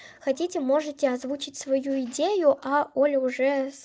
хотите можете озвучить свою идею а оля уже